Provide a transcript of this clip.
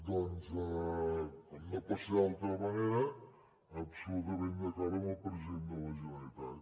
doncs com no pot ser d’altra manera absolutament d’acord amb el president de la generalitat